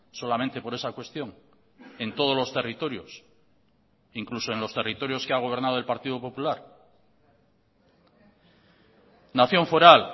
solamente por esa cuestión en todos los territorios incluso en los territorios que ha gobernado el partido popular nación foral